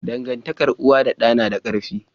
Dangantakar uwa da da nada karfi